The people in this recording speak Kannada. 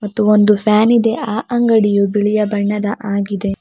ಮತ್ತು ಒಂದು ಫ್ಯಾನ್ ಇದೆ ಆ ಅಂಗಡಿಯೂ ಬಿಳಿಯ ಬಣ್ಣದ ಆಗಿದೆ.